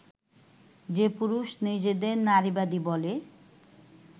যে পুরুষ নিজেদের নারীবাদী বলে